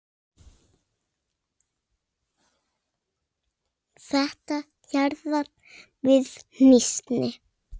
Þetta jaðrar við hnýsni.